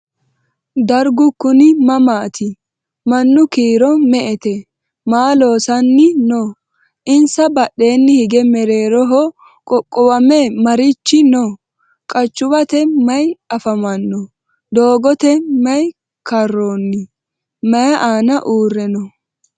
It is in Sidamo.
Darigu kunni mamaatti? Mannu kiiro me'ette? Maa loosanni noo? insa badheenni hige mereerroho qoqowame marichi noo? Qachuwatte mayi affamanno? Doogotte maa karoonni? Mayi aanna uure noo?